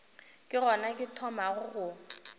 ke gona ke thomago go